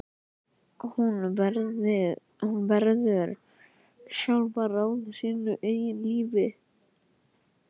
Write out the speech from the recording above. Hún verður sjálf að ráða sínu eigin lífi.